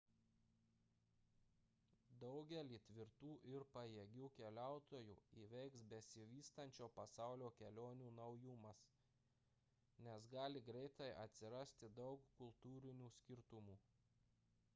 daugelį tvirtų ir pajėgių keliautojų įveiks besivystančio pasaulio kelionių naujumas nes gali greitai atsirasti daug kultūrinių skirtumų